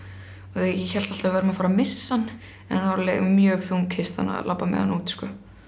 ég hélt alltaf að við værum að fara missa hann en það var alveg mjög þung kistan að labba með hann út sko